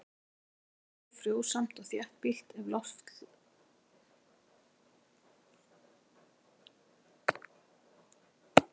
Landið er oft mjög frjósamt og þéttbýlt ef loftslag leyfir.